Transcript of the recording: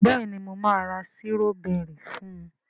béèni mo ma ra Sírọ́bẹ́rì fún.